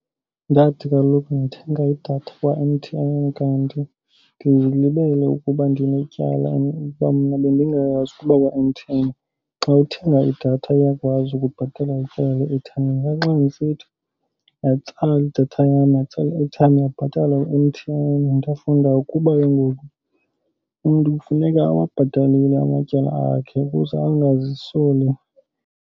Ndathi kaloku ndithenga idatha kwa-M_T_N kanti ndizilibele ukuba ndinetyala and kwamna bendingayazi ukuba kwa-M_T_N xa uthenga idatha iyakwazi ukubhatala ityala le-airtime. Ndathi xa ndisithi yatsala idatha lam yatsala i-airtime yabhatala u-M_T_N. Ndafunda ukuba ke ngoku umntu kufuneka awabhatalile amatyala akhe ukuze angazisoli.